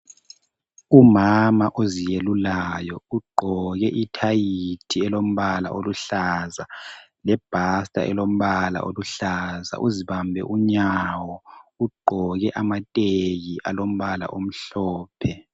Umama oziyelulayo ugqoke ithayithi elombala oluhlaza ,lebhatsa elombala oluhlaza. Uzibambe unyawo ,ugqoke amatheki alombala omhlophe.